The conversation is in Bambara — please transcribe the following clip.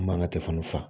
An man ka fa